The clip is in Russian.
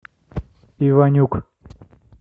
иванюк